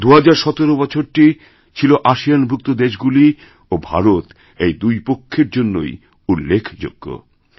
২০১৭ বছরটি ছিল আসিয়ানভুক্ত দেশগুলি ও ভারত এইদুই পক্ষের জন্যই উল্লেখযোগ্য